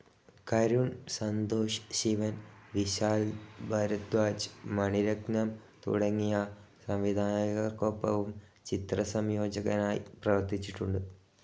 കരുൺ, സന്തോഷ് ശിവൻ, വിശാൽ ഭരധ്വാജ്, മണി രത്നം തുടങ്ങിയ സംവിധായകർക്കൊപ്പവും ചിത്രസംയോജകനായി പ്രവർത്തിച്ചിട്ടുണ്ട്.